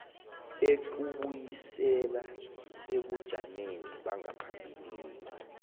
ukubuyisela ebujameni bangaphambilini